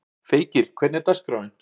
Feykir, hvernig er dagskráin?